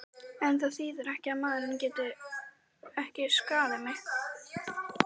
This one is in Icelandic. En það þýðir ekki að maðurinn geti ekki skaðað mig.